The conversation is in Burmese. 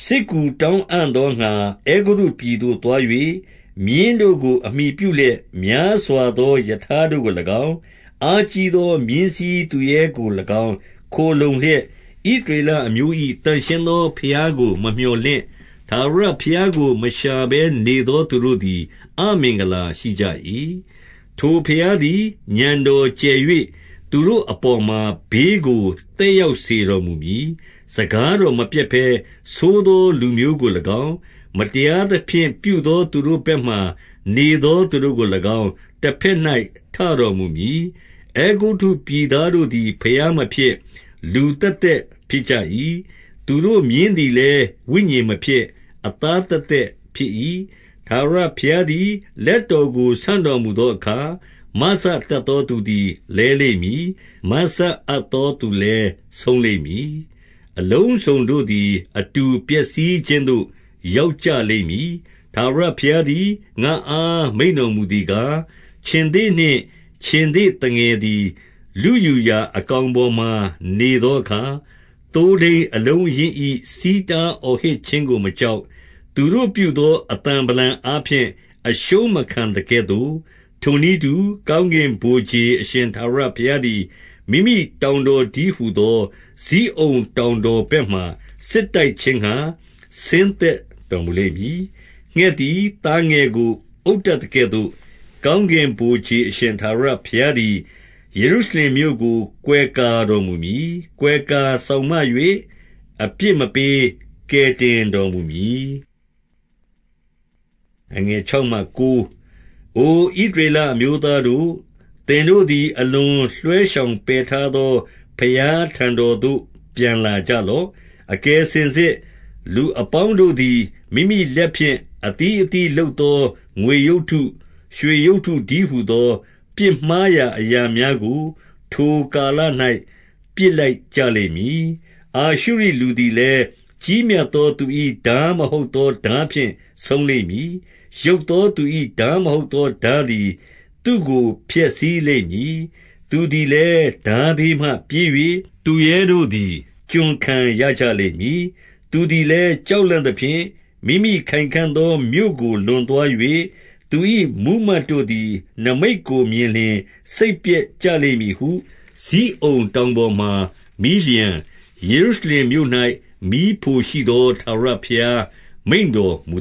စစ်ကူတောင်းအံ့သောငှါ အဲဂုတ္တုပြည်သို့သွား ၍၊မြင်းတို့ကို အမှီပြုလျက် များစွာသော ရထားတို့ကို၎င်း၊ အားကြီးသော မြင်းစီးသူရဲတို့ကို၎င်းခိုလှုံလျက်၊ ဣသရေ လ အမျိုး၏ သန့်ရှင်းသောဘုရားကို မမြော်လင့်၊ ထာဝရ ဘုရားကို မရှာဘဲနေသောသူတို့သည် အမင်္ဂလာရှိကြ၏။ 2 ထိုဘုရားသည် ဥာဏ်တော်ကျယ်၍၊ သူတို့အ ပေါ်မှာ ဘေးကိုသက်ရောက်စေတော်မူမည်။ စကား တော်မပျက်ဘဲ၊ ဆိုးသောလူမျိုးကို၎င်း၊ မတရားသဖြင့် ပြုသောသူတို့ဘက်မှာ နေသောသူတို့ကို၎င်း တဘက်၌ ထတော်မူမည်။ 3 အဲဂုတ္တုပြည်သားတို့သည် ဘုရားမဖြစ်၊ လူသက် သက် ဖြစ်ကြ၏။ သူတို့မြင်းသည်လည်း ဝိညာဉ်မဖြစ်၊ အသားသက်သက် ဖြစ်၏။ ထာဝရဘုရားသည် လက် တော်ကို ဆန့်တော်မူသောအခါ၊ မစတတ်သောသူသည် လဲလိမ့်မည်။ အလုံးစုံတို့သည် အတူပျက်စီးခြင်းသို့ ရောက်ကြလိမ့်မည်။ 4 ထာဝရဘုရားသည် ငါ့အားမိန့်တော်မူသည် ကား၊ ခြင်္သေ့နှင့် ခြင်္သေ့သငယ်သည် လုယူရာ အကောင် ပေါ်မှာနေသောအခါ၊ သိုးထိန်းအလုံးအရင်း၏ ဆီးတား အော်ဟစ်ခြင်းကို မကြောက်၊ သူတို့ပြုသောအသံဗလံအား ဖြင့် အရှုံးမခံသကဲ့သို့၊ ထိုနည်းတူ၊ ကောင်းကင်ဗိုလ်ခြေ အရှင်ထာဝရဘုရားသည် မိမိတောင်တည်းဟူသော ဇိ အုန်တောင်တော်ဘက်မှာ စစ်တိုက်ခြင်းငှါ ဆင်းသက် တော်မူလိမ့်မည်။ 5 ငှက်သည် သားငယ်ကို အုပ်တတ်သကဲ့သို့၊ ကောင်းကင်ဗိုလ်ခြေအရှင် ထာဝရဘုရားသည် ယေရှုရှ လင်မြို့ကို ကွယ်ကာတော်မူမည်။ ကွယ်ကာစောင့်မ၍ အပြစ်မပေး၊ ကယ်တင်တော်မူမည်။ 6 အိုဣသရေလအမျိုးသားတို့၊ သင်တို့သည် အ လွန်လွှဲရှောင်ပယ်ထားသော ဘုရားထံတော်သို့ ပြန်လာ ကြလော့။ 7 အကယ်စင်စစ် လူအပေါင်းတို့သည် မိမိလက် ဖြင့် အသီးအသီးလုပ်သောငွေရုပ်တု၊ ရွှေရုပ်တု တည်း ဟူသော၊ ပြစ်မှားရာအရာများကို ထိုကာလ၌ ပစ်လိုက် ကြလိမ့်မည်။ 8 အာရှုရိလူသည်လည်း၊ကြီးမြတ်သောသူ၏ ထား မဟုတ်သော ထားဖြင့်ဆုံးလိမ့်မည်။ ယုတ်သောသူ၏ထား မဟုတ်သော ထားသည် သူ့ကိုဖျက်ဆီးလိမ့်မည်။ သူသည် လည်း ထားဘေးမှ ပြေး၍၊ သူရဲတို့သည် ကျွန်ခံရကြလိမ့် မည်။ 9 သူသည်လည်း ကြောက်လန့်သဖြင့်၊ မိမိခိုင်ခံ့ သော မြို့ကိုလွန်သွား၍၊ သူ၏ မှုးမတ်တို့သည် နိမိတ်ကို မြင်လျှင် စိတ်ပျက်ကြလိမ့်မည်ဟု ဇိအုန်တောင်ပေါ်မှာမီး လျှံ၊ ယေရှုရှင်မြို့၌ မီးဖိုရှိသော ထာဝရဘုရား မိန့်တော်မူ